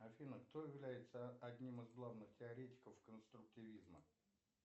афина кто является одним из главных теоретиков конструктивизма